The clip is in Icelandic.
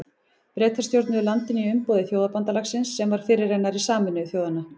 Bretar stjórnuðu landinu í umboði Þjóðabandalagsins sem var fyrirrennari Sameinuðu þjóðanna.